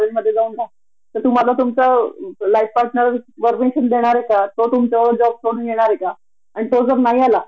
महिलेला एवढा सन्मान कारण ती मातृत्वाच सन्मान करते आपल्या इथेच अस का प्रॉब्लेम येतो मला खरच कळत नाही आग कधी कधी?